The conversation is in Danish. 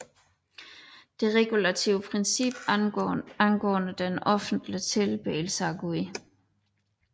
Det regulative princip angående den offentlige tilbedelse af Gud